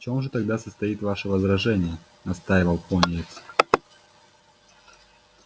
в чём же тогда состоит ваше возражение настаивал пониетс